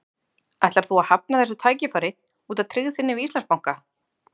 Ætlar þú að hafna þessu tækifæri út af tryggð þinni við Íslandsbanka?